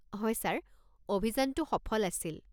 হয় ছাৰ, অভিযানটো সফল আছিল।